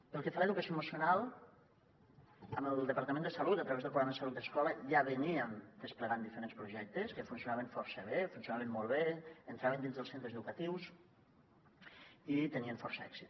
pel que fa a l’educació emocional amb el departament de salut a través del programa salut i escola ja veníem desplegant diferents projectes que funcionaven força bé funcionaven molt bé entraven dins dels centres educatius i tenien força èxit